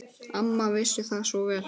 Amma vissi það svo vel.